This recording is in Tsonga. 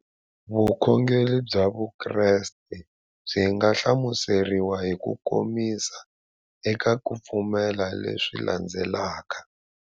Vukhongeri bya Vukreste byi nga hlamuseriwa hi kukomisa eka ku pfumela leswi landzelaka.